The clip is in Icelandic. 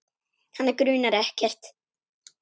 Hana grunar ekkert.